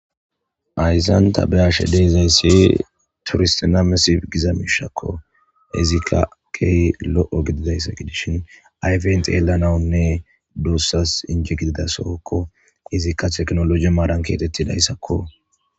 ayzanta be ashe deezayssi turistinamesi giza miishakko izikka key lo7o gididayssa gidishin ayfent yeelanawunne duussas inje gidida sookko izikka teknoloji maadan keetettidayssakko